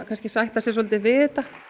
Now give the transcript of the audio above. sætta sig svolítið við þetta